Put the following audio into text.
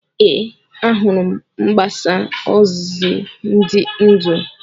Ee, ahụrụ m mgbasa ozi dị ndụ.